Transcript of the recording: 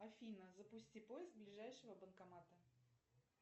афина запусти поиск ближайшего банкомата